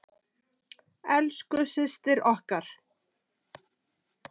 Elsku systir okkar.